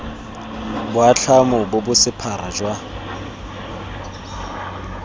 boatlhamo bo bo sephara jwa